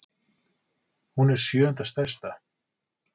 Hún er sjöunda stærsta.